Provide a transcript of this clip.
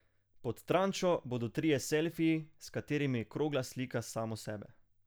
Pod Trančo bodo trije selfiji, s katerimi krogla slika samo sebe.